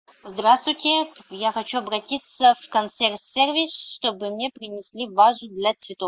здравствуйте я хочу обратиться в консьерж сервис чтобы мне принесли вазу для цветов